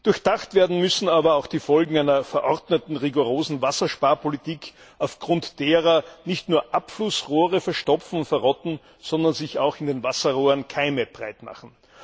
Durchdacht werden müssen aber auch die Folgen einer verordneten rigorosen Wassersparpolitik, aufgrund derer nicht nur Abflussrohre verstopfen und verrotten, sondern sich auch in den Wasserrohren Keime breitmachen.